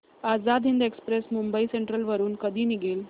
Azad Hind express Mumbai central वरून कधी निघेल